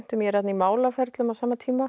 ég er þarna í málaferlum á sama tíma